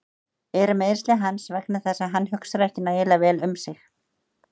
Eru meiðsli hans vegna þess að hann hugsar ekki nægilega vel um sig?